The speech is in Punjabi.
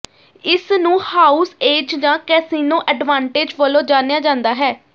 ਇਸ ਨੂੰ ਹਾਊਸ ਏਜ ਜਾਂ ਕੈਸਿਨੋ ਐਡਵਾਂਟੇਜ ਵਜੋਂ ਜਾਣਿਆ ਜਾਂਦਾ ਹੈ